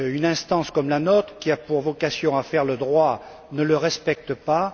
instance comme la nôtre, qui a pour vocation à faire le droit, ne le respecte pas.